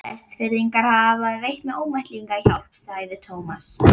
Vestfirðingar hafa veitt mér ómetanlega hjálp sagði Thomas.